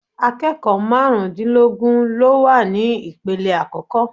Akẹ́kọ̀ọ́ marun dínlógún ló wà ní ipele àkọ́kọ́.